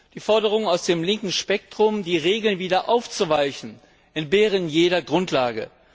Die Forderungen aus dem linken Spektrum, die Regeln wieder aufzuweichen, entbehren jeder Grundlage.